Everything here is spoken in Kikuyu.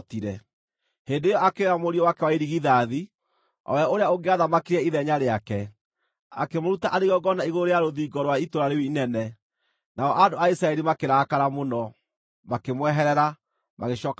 Hĩndĩ ĩyo akĩoya mũriũ wake wa irigithathi, o we ũrĩa ũngĩathamakire ithenya rĩake, akĩmũruta arĩ igongona igũrũ rĩa rũthingo rwa itũũra rĩu inene. Nao andũ a Isiraeli makĩrakara mũno; makĩmweherera, magĩcooka bũrũri wao.